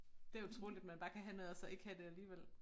Det utroligt man bare kan have noget og så ikke have det alligevel